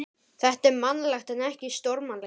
Þetta er mannlegt en ekki stórmannlegt.